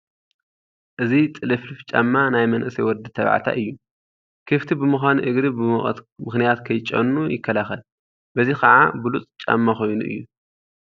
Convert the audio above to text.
እዚ ጥልፍልፍ ጫማ ናይ መንእሰይ ወዲ ተባዕታይ እዩ፡፡ ክፍቲ ብምዃኑ እግሪ ብሙቐት ምኽንያት ከይጨኑ ይከላኸል፡፡ በዚ ከዓ ብሉፅ ጫማ ኮይኑ እዩ፡፡